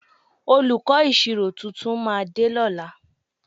Olùkọ́ ìṣirò tuntun máa dé lọ́la